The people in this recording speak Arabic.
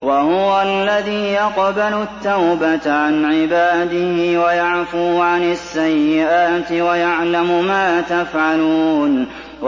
وَهُوَ الَّذِي يَقْبَلُ التَّوْبَةَ عَنْ عِبَادِهِ وَيَعْفُو عَنِ السَّيِّئَاتِ وَيَعْلَمُ مَا تَفْعَلُونَ